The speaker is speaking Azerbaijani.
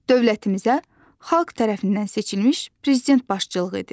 Dövlətimizə xalq tərəfindən seçilmiş prezident başçılığı edir.